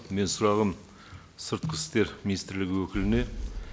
менің сұрағым сыртқы істер министрлігі өкіліне